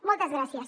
moltes gràcies